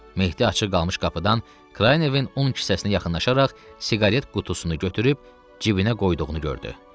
Mehdi açıq qalmış qapıdan Kraynevin un kisəsinə yaxınlaşaraq siqaret qutusunu götürüb cibinə qoyduğunu gördü.